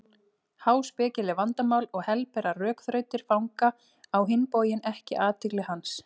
Háspekileg vandamál og helberar rökþrautir fanga á hinn bóginn ekki athygli hans.